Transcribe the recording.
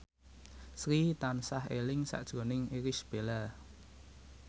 Sri tansah eling sakjroning Irish Bella